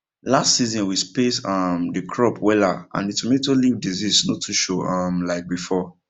last season we space um the crop wella and the tomato leaf disease no too show um like before